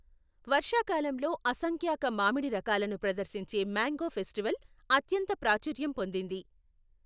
వర్షాకాలంలో అసంఖ్యాక మామిడి రకాలను ప్రదర్శించే మ్యాంగో ఫెస్టివల్ అత్యంత ప్రాచుర్యం పొందింది.